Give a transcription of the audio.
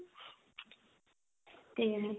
ਤੇ